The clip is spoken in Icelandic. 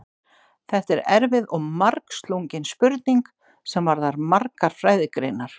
Þetta er erfið og margslungin spurning sem varðar margar fræðigreinar.